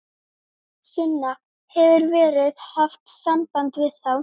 Sunna: Hefur verið haft samband við þá?